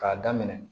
K'a daminɛ